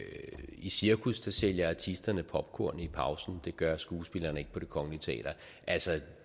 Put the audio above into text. i cirkus sælger artisterne popcorn i pausen det gør skuespillerne ikke på det kongelige teater altså